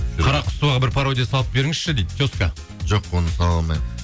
қарақұсоваға бір пародия салып беріңізші дейді теска жоқ оны сала алмаймын